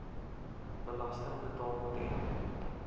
belasting betaal ten